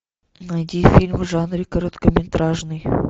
найди фильм в жанре короткометражный